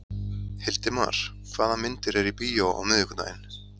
Hildimar, hvaða myndir eru í bíó á miðvikudaginn?